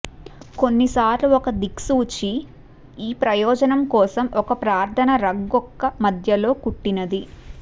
కొన్నిసార్లు ఒక దిక్సూచి ఈ ప్రయోజనం కోసం ఒక ప్రార్థన రగ్గొక్క మధ్యలో కుట్టినది